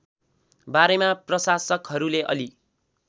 बारेमा प्रशासकहरूले अलि